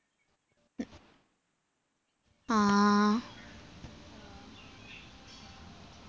ആ